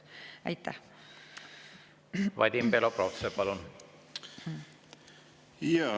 Vadim Belobrovtsev, palun!